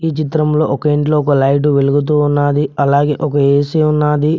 ఈ చిత్రంలో ఒక ఇంట్లో ఒక లైట్ వెలుగుతూ ఉన్నది అలాగే ఒక ఏసీ ఉన్నది.